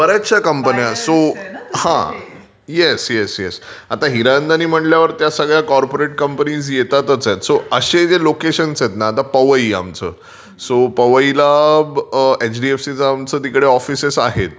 बर् याचशा कंपन्या आहेत both speaker talking हा. Yes yes yes. आता हिरनंदांनि म्हंटल्यावर त्या सगळ्या कॉर्पोरेट कंपनीज येतातच आहेत सो असे जे लोकेशन्स आहेत ना आता पवई आमचं सो पवईला एचडीएफसीचं ऑफिस आहेत